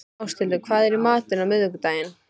Áshildur, hvað er í matinn á miðvikudaginn?